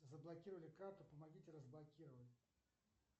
заблокировали карту помогите разблокировать